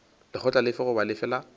lekgotla lefe goba lefe la